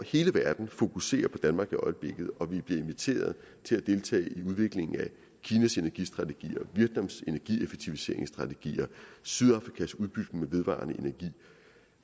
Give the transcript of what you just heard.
hele verden fokuserer på danmark i øjeblikket og vi bliver inviteret til at deltage i udviklingen af kinas energistrategier vietnams energieffektiviseringsstrategier sydafrikas udbygning med vedvarende energi